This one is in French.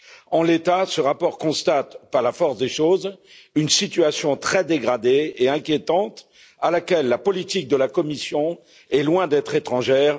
En l'état, ce rapport constate, par la force des choses, une situation très dégradée et inquiétante à laquelle la politique de la Commission est loin d'être étrangère.